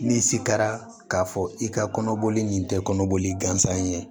N'i se kɛra k'a fɔ i ka kɔnɔboli nin tɛ kɔnɔboli gansan ye